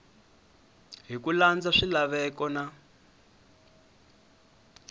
hi ku landza swilaveko na